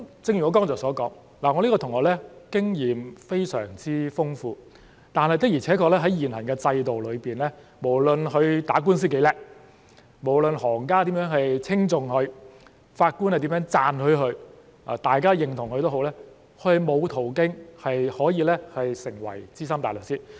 正如我剛才所說，我這位同學的經驗非常豐富，但的確在現行的制度裏，無論他打官司多麼優秀，無論行家如何稱頌他，法官如何讚許他或大家認同他也好，他也沒有途徑可以成為資深大律師。